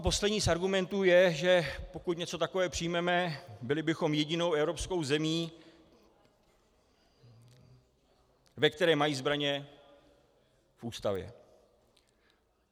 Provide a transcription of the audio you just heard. A poslední z argumentů je, že pokud něco takového přijmeme, byli bychom jedinou evropskou zemí, ve které mají zbraně v Ústavě.